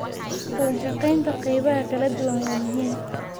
Wadashaqeynta qaybaha kala duwan waa muhiim.